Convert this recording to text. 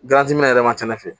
minɛ yɛrɛ ma ca ne fɛ